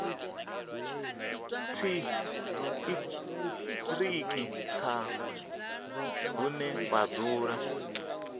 tshiṱiriki tsha hune vha dzula